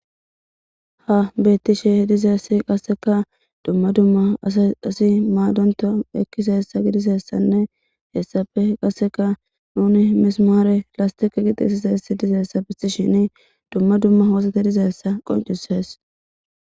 ha bettishe dizeessi qasseka dumma dumma asi qasse maadonta ekkizeyissa gidisessanne hessafe qasseka nuni misimaare lastiqe qixisiseessi dizeessa bisishin dumma dumma hoosate dizeessa qoncisees